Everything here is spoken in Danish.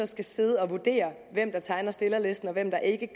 skal sidde og vurdere hvem der tegner stillerlisten og hvem der ikke